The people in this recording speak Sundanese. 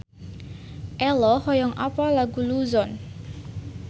Ello hoyong apal Luzon